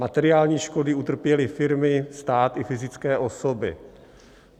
Materiální škody utrpěly firmy, stát i fyzické osoby.